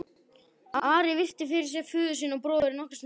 Ari virti fyrir sér föður sinn og bróður nokkra stund.